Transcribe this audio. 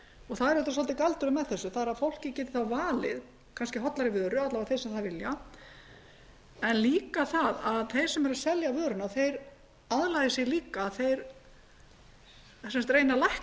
er auðvitað svolítið galdurinn með þessu að fólkið geti þá valið hollari vöru alla vega þeir sem það vilja en líka það að þeir sem eru að selja vöruna aðlagi sig líka þeir reyni að lækka hitaeiningatölurnar